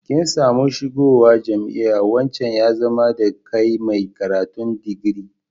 Kin samu shiga zuwa jami'a, wancan ya zama da kai mai karatun digiri.